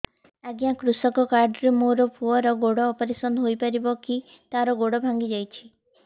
ଅଜ୍ଞା କୃଷକ କାର୍ଡ ରେ ମୋର ପୁଅର ଗୋଡ ଅପେରସନ ହୋଇପାରିବ କି ତାର ଗୋଡ ଭାଙ୍ଗି ଯାଇଛ